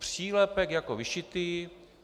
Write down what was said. Přílepek jako vyšitý!